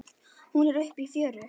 Hún er uppi í fjöru.